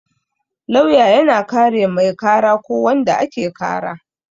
Lauya yana kare mai kara ko wanda ake kara